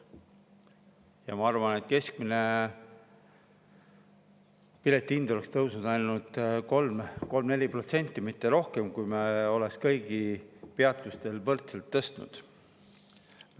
Ja ma arvan, et keskmine piletihind oleks tõusnud ainult 3–4%, mitte rohkem, kui me oleks seda kõigi peatuste puhul võrdselt tõstnud.